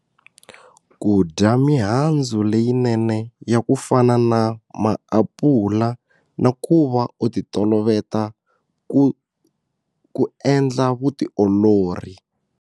Ku dya mihandzu leyinene ya ku fana na maapula na ku va u ti toloveta ku ku endla vutiolori.